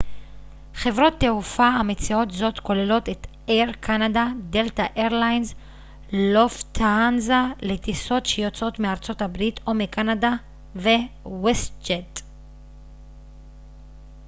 חברות תעופה המציעות זאת כוללות את אייר קנדה דלתא איירליינס לופטהנזה לטיסות שיוצאות מארה ב או מקנדה ו-ווסט ג'ט